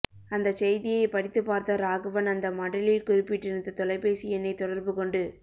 அந்தச் செய்தியைப் படித்துப் பார்த்த ராகவன் அந்த மடலில் குறிப்பிட்டிருந்த தொலைபேசி எண்ணைத் தொடர்புகொண்டு